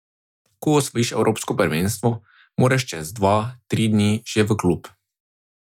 Ko osvojiš evropsko prvenstvo, moraš čez dva, tri dni že v klub.